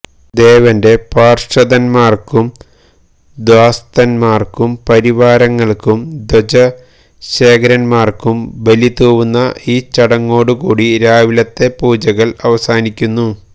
ദേവന്റെ പാര്ഷദന്മാര്ക്കും ദ്വാസ്ഥന്മാര്ക്കും പരിവാരങ്ങള്ക്കും ധ്വജശേഖരന്മാര്ക്കും ബലിതൂവുന്ന ഈ ചടങ്ങോടു കൂടി രാവിലത്തെ പൂജകള് അവസാനിക്കുന്നു